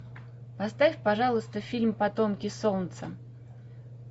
поставь пожалуйста фильм потомки солнца